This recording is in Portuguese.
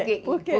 Por quê?